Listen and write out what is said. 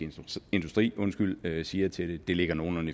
industri siger til det det ligger nogenlunde